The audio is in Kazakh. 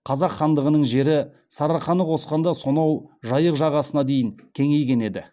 қазақ хандығының жері сарыарқаны қосқанда сонау жайық жағасына дейін кеңейген еді